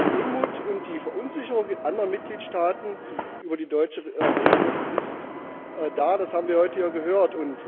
Der Unmut und die Verunsicherung in anderen Mitgliedstaaten über die deutsche Regelung sind da, das haben wir heute gehört.